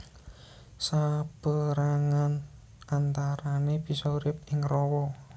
Sapérangan antarané bisa urip ing rawa